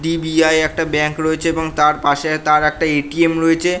DBI একটা bank রয়েছে এবং তার পাশে তার একটা এ.টি.এম রয়েছে।